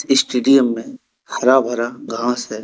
Stadium में हरा भरा घास है।